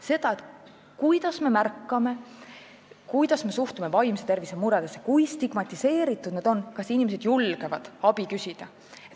See puudutab seda, kuidas me märkame vaimse tervise muresid, kuidas me neisse suhtume, kui stigmatiseeritud need inimesed on, kas inimesed julgevad abi küsida.